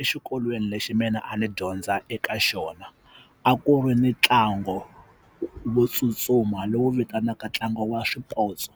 Exikolweni lexi mina a ni dyondza eka xona a ku ri ni ntlango wo tsutsuma lowu vitanaka ntlangu wa swipotso